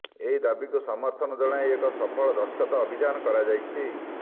ଏହି ଦାବିକୁ ସମର୍ଥନ ଜଣାଇ ଏକ ସଫଳ ଦସ୍ତଖତ ଅଭିଯାନ କରାଯାଇଛି